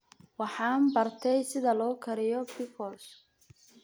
Waxaan bartay sida loo kariyo pickles.